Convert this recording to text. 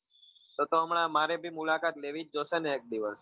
તો તો હમણાં મારે બી મુલાકાત લેવી જ જોશે ને એક દિવસ.